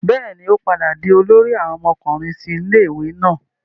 bẹẹni, o padà di olórí àwọn ọmọkùnrin ti ilé-ìwé náà